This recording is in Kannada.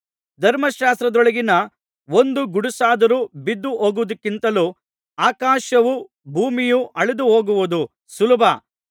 ಧರ್ಮಶಾಸ್ತ್ರದೊಳಗಿನ ಒಂದು ಗುಡಸಾದರೂ ಬಿದ್ದು ಹೋಗುವುದಕ್ಕಿಂತಲೂ ಆಕಾಶವೂ ಭೂಮಿಯೂ ಅಳಿದುಹೋಗುವುದು ಸುಲಭ